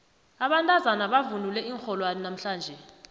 abantazana bavunule iinrholwana namhlanje